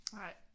Nej